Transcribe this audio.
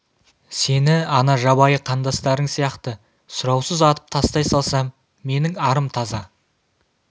сені ана жабайы қандастарың сияқты сұраусыз атып тастай салсам менің арым таза